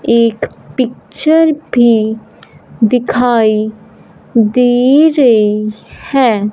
एक पिक्चर भी दिखाई दे रहे हैं।